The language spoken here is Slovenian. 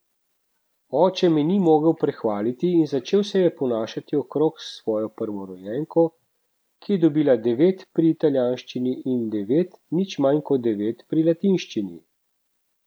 Oče me ni mogel prehvaliti in začel se je ponašati okrog s svojo prvorojenko, ki je dobila devet pri italijanščini in devet, nič manj kot devet pri latinščini.